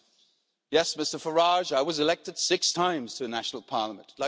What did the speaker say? And yes, Mr Farage, I was elected six times to a national parliament.